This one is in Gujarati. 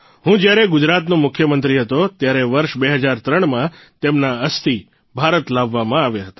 હું જયારે ગુજરાતનો મુખ્યમંત્રી હતો ત્યારે વર્ષ ૨૦૦૩માં તેમના અસ્થિ ભારત લાવવામાં આવ્યા હતા